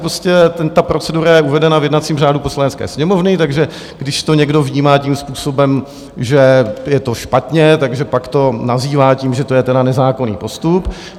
prostě ta procedura je uvedena v jednacím řádu Poslanecké sněmovny, takže když to někdo vnímá tím způsobem, že je to špatně, tak pak to nazývá tím, že to je tedy nezákonný postup.